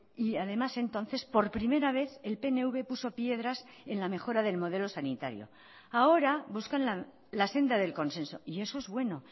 y además entonces por primera vez el pnv puso piedras en la mejora del modelo sanitario ahora buscan la senda del consenso y eso es bueno